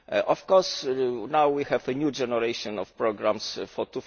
Of course, now we have a new generation of programmes for